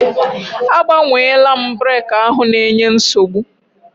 Agbanweela m breki ahụ na-enye nsogbu.